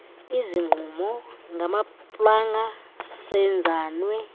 izigquma ngamaplanga seenzanwe